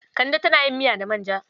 Kande tana yin miya da manja.